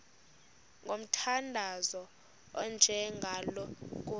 ngomthandazo onjengalo nkosi